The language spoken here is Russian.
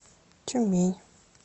тюмень